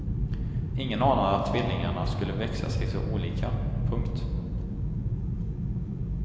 Ingen anade att tvillingarna skulle växa sig så olika. punkt